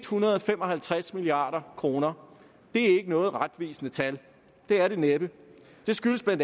hundrede og fem og halvtreds milliard kroner det er ikke noget retvisende tal det er det næppe det skyldes bla